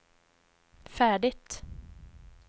färdigt